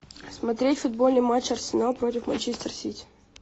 смотреть футбольный матч арсенал против манчестер сити